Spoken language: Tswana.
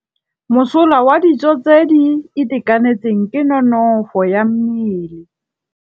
Mosola wa dijô tse di itekanetseng ke nonôfô ya mmele.